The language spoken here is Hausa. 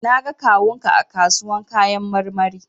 Na ga kawun ka a kasuwan kayan marmari.